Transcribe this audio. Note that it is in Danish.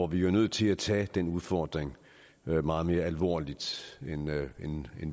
vi er nødt til at tage den udfordring meget mere alvorligt end